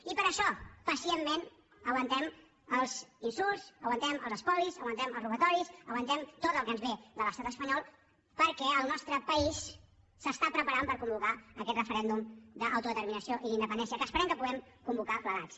i per això pacientment aguantem els insults aguantem els espolis aguantem els robatoris aguantem tot el que ens ve de l’estat espanyol perquè el nostre país es prepara per convocar aquest referèndum d’autodeterminació i d’independència que esperem que puguem convocar plegats